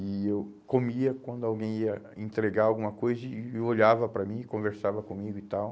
E eu comia quando alguém ia entregar alguma coisa e olhava para mim, conversava comigo e tal.